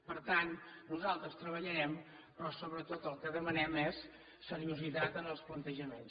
per tant nosaltres treballarem però sobretot el que demanem és seriositat en els plantejaments